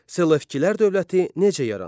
Selevkilər dövləti necə yarandı?